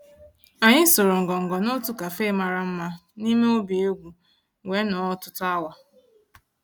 Ànyị́ sụ̀rụ́ ngọngọ́ n'òtù cafe màrà mmá n'ímé òbí égwú wéé nọ̀ọ́ ọ̀tụtụ́ awa.